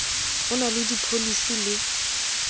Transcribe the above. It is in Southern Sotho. o na le dipholisi le